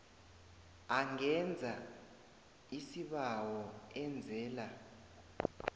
angenza isibawo enzela